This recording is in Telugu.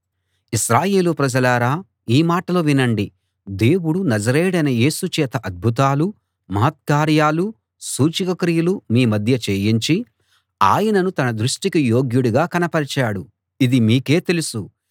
ఇశ్రాయేలు ప్రజలారా ఈ మాటలు వినండి దేవుడు నజరేయుడైన యేసు చేత అద్భుతాలూ మహత్కార్యాలూ సూచకక్రియలూ మీ మధ్య చేయించి ఆయనను తన దృష్టికి యోగ్యుడుగా కనపరిచాడు ఇది మీకే తెలుసు